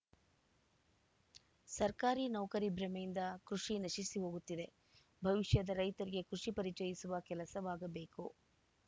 ಸರ್ಕಾರಿ ನೌಕರಿ ಭ್ರಮೆಯಿಂದ ಕೃಷಿ ನಶಿಸಿ ಹೋಗುತ್ತಿದೆ ಭವಿಷ್ಯದ ರೈತರಿಗೆ ಕೃಷಿ ಪರಿಚಯಿಸುವ ಕೆಲಸವಾಗಬೇಕು